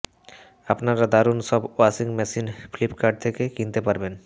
আপনারা দারুন সব ওয়াশিং মেশিন ফ্লিপকার্ট থেকে কিনতে পারবেন